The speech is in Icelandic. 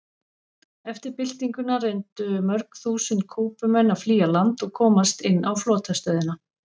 Eftir byltinguna reyndu mörg þúsund Kúbumenn að flýja land og komast inn á flotastöðina.